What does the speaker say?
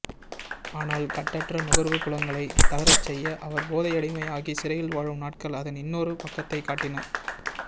ஆனால் கட்டற்ற நுகர்வு புலன்களை தளரச்செய்ய அவர் போதையடிமை ஆகி சிறையில்வாழும் நாட்கள் அதன் இன்னொரு பக்கத்தைக் காட்டின